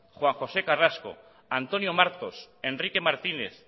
juan josé carrasco antonio martos enrique martínez